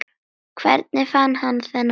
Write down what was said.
Hvernig fann hann þennan kraft?